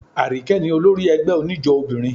Àríkẹ́ ní olórí ẹgbẹ́ oníjó obìnrin.